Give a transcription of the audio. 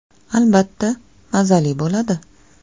Albatta, mazali bo‘ladi.